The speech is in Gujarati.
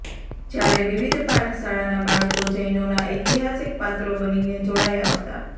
જ્યારે વિવિધ પાઠશાળાનાં બાળકો જૈનોનાં ઐતિહાસિક પાત્રો બનીને જોડાયા હતા